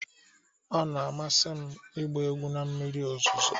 Ọ na-amasị m ịgba egwu na mmiri ozuzo.